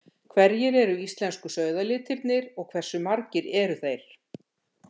Hverjir eru íslensku sauðalitirnir og hversu margir eru þeir?